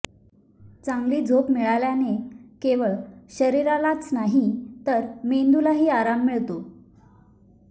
चांगली झोप मिळाल्याने केवळ शरीरालाच नाही तर मेंदूलाही आराम मिळतो